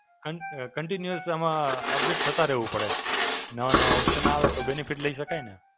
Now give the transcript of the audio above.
કન અ Continue આમાં update થતાં રહેવું પડે. નવા નવા option આવે તો benefit લઈ શકાય ને.